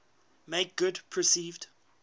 make good perceived